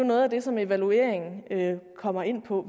noget af det som evalueringen kommer ind på